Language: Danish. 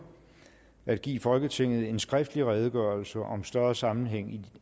at give folketinget en skriftlig redegørelse om større sammenhæng